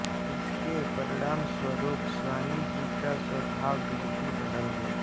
इसके परिणामस्वरूप स्वामी जी का स्वभाव बिल्कुल बदल गया